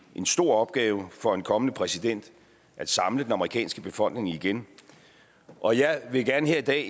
en stor opgave for en kommende præsident at samle den amerikanske befolkning igen og jeg vil gerne her i dag